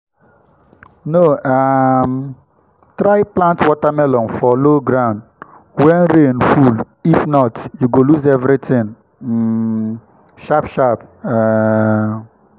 no um try plant watermelon for low ground when rain full if not you go lose everything um sharp-sharp. um